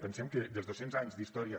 pensem que els dos cents anys d’història